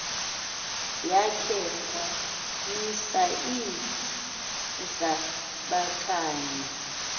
yakhe wamisa iinhlabakanye